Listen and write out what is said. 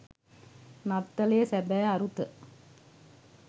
නත්තලේ සැබෑ අරුත